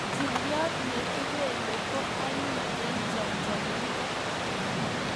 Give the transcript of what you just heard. Njiriot ne kipelei ko anyiny eng chamchamindo